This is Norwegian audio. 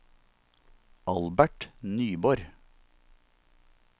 Albert Nyborg